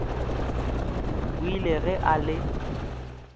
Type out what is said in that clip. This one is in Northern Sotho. o ile ge a le